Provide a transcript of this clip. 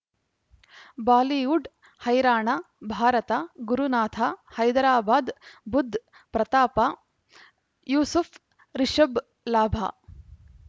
Bollywood ಹೈರಾಣ ಭಾರತ ಗುರುನಾಥ ಹೈದರಾಬಾದ್ ಬುಧ್ ಪ್ರತಾಪ ಯೂಸುಫ್ ರಿಷಬ್ ಲಾಭ